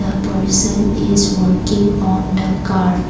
the person is working on the car.